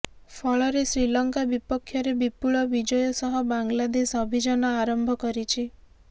ଫଳରେ ଶ୍ରୀଲଙ୍କା ବିପକ୍ଷରେ ବିପୁଳ ବିଜୟ ସହ ବାଂଲାଦେଶ ଅଭିଯାନ ଆରମ୍ଭ କରିଛି